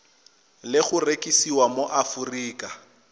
le go rekisiwa mo aforika